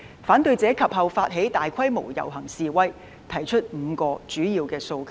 反對者及後發起大規模遊行示威，提出5項主要訴求。